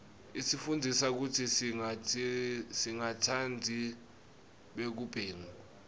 isifundzisa kutsi singatsandzi bugebengu